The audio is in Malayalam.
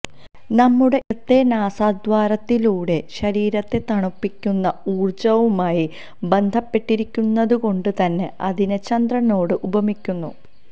നമ്മുടെ ഇടത്തെ നാസാദ്വാരത്തിലൂടെ ശരീരത്തെ തണുപ്പിക്കുന്ന ഊര്ജ്ജവുമായി ബന്ധപ്പെട്ടിരിക്കുന്നതുകൊണ്ട് തന്നെ അതിനെ ചന്ദ്രനോട് ഉപമിക്കുന്നു